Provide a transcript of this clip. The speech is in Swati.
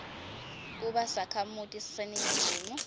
kuba sakhamuti saseningizimu